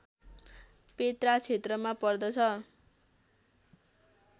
Petra क्षेत्रमा पर्दछ